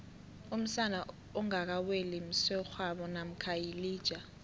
umsana ongaka weli msegwabo mamkha yilija